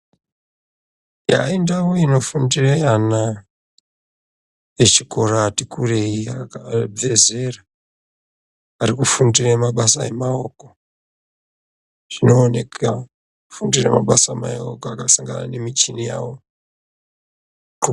Ndau inofundire ana echikora, ati akurei abve zera arikufundire mabasa emaoko, zvinooneka kufundira mabasa emaoko akasangana nemuchini yawo.